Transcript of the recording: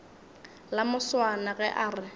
la moswana ge a re